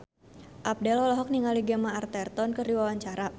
Abdel olohok ningali Gemma Arterton keur diwawancara